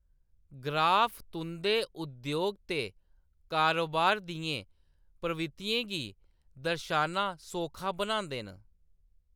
Graph तुंʼदे उद्योग ते कारोबार दियें प्रवृत्तियें गी दर्शाना सौखा बनांदे न।